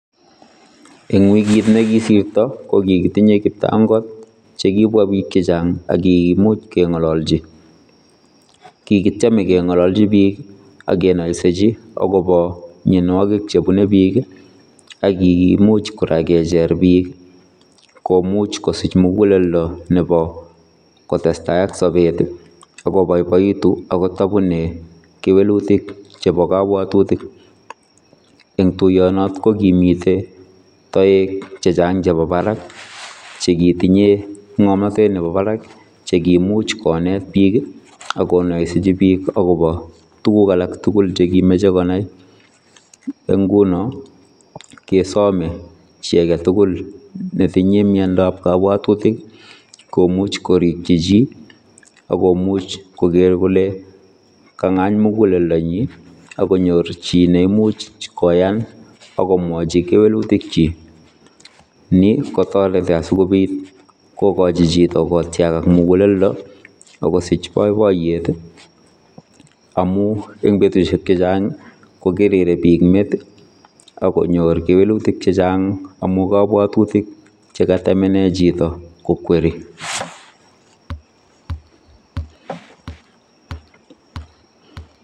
Eng wikiit nekisirtoo ko kikotinyei kiptangoot che kibwaa biik chechaang akimuuch kengalachii, kikitiemei kengalachii biik ii kenaisejii agobo mianwagik che bunei biik ii aki komuuch kora kecher biik komuuch kosiich mugeleldo nebo kotestai ak sabeet ak ko baibaituu akoot nda bunei kewelutiik chebo kabwatutik en tuyeet, kokimite taeg chechaang chebo baraak che kitinyei ngamnatet nebo barak ,cheikimuuch kobeet biik akonaisejii agobo tuguul alaak tugul chekimuchei konai, en ngunoo kesamee chii age ne tinyei miandap kabwatutik komuuch korikyii chii akimuuch koger kole kakingaany mugeleldo nyiin akonyoor chii neimuuch koyaan agobo kewelutiik kyiik, ni kotaretii asikobiit kotaretii chitoo kotyagag muguleldo akosiich boiboiyet amuu en betusiek chechaang ko kerere biik met ako nyoor kewelutiik chechaang chebo kabwatutik chekataa chaam inei chitoo kokwerii.